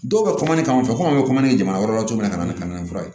Dɔw bɛ ka n'a fɔ ko an bɛ jamana wɛrɛ la cogo min na ka na ni kamini fura ye